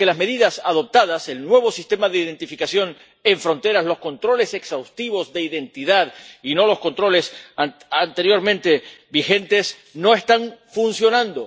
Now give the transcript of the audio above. Porque las medidas adoptadas —el nuevo sistema de identificación en fronteras, los controles exhaustivos de identidad—, y no los controles anteriormente vigentes, no están funcionando.